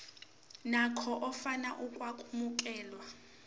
nakhona ofuna ukwamukelwa